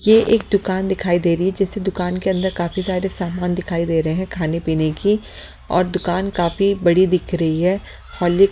ये एक दुकान दिखाई दे रही है जैसे दुकान के अंदर काफी सारे सामान दिखाई दे रहे हैं खाने पीने की और दुकान काफी बड़ी दिख रही है। हॉलेक --